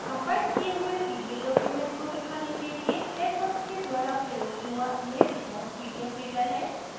compiled किये हुए pdf documents को दिखाने के लिए texworks के द्वारा प्रयोग हुआ यह default pdf reader है